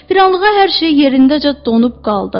Bir anlığa hər şey yerindəcə donub qaldı.